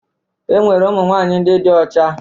Enwere ụmụnwaanyị ndị dị ọcha